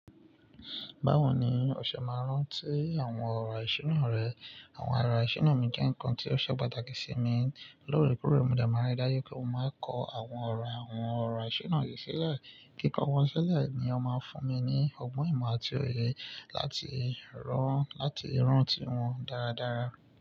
Báwo ni ò ṣe máa rántí àwọn ọ̀rọ̀ ìṣúná rẹ? Àwọn ọ̀rọ̀ ìṣúná mi jẹ́ nkan tí ó ṣe pàtàkì sí mi. Lóorekoore, mo de máa n rí dáju pé mo máa n kọ àwọn ọ̀rọ̀ àwọn ọ̀rọ̀ ìṣúná yìí sílẹ̀. Kí n kọ wọ́n sílẹ̀ ni ó máa ń fún mi ní ọgbọ́n ìmọ̀ àti òye láti rántí wọn dáradára.